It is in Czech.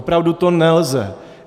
Opravdu to nelze.